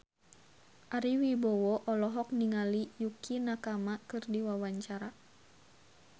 Ari Wibowo olohok ningali Yukie Nakama keur diwawancara